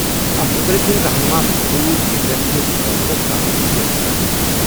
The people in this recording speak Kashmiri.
اَتھ مُتعلِق یِن رہنما خطوط ییٚمہِ رٮ۪تہٕ کِس ٲخرس تام جٲری کرنہٕ۔